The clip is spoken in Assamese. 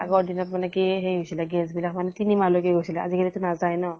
আগৰ দিনত মানে কি সেই হৈছিলে gas বিলাক মানে তিনি মাহ লৈকে গৈছিলে। আজি কালি টো নাজায় ন?